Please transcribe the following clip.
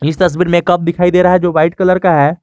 इस तस्वीर में कप दिखाई दे रहा है जो वाइट कलर का है।